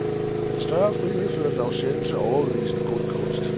Den større frihed førte dog sjældent til overbevisende god kunst.